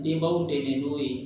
Denbaw dɛmɛ n'o ye